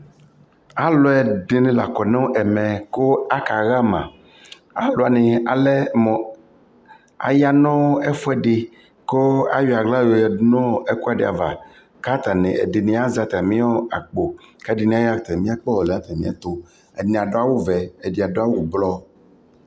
alʋɛdini lakɔ nʋ ɛmɛ kʋ akaha ma, alʋ wani alɛmʋ aya nʋ ɛƒʋɛdi kʋ ayɔ ala yɔ yadʋ nʋɔ ɛkʋɛdi aɣa kʋ ɛdini azɛ atami akpɔ kʋ ɛdini ayɔ atami akpɔ ɔlɛnʋ atami ɛtʋ, ɛdi adʋ awʋ vɛ ɛdi adʋbawʋ blɔ